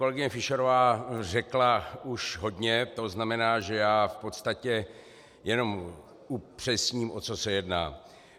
Kolegyně Fischerová řekla už hodně, to znamená, že já v podstatě jenom upřesním, o co se jedná.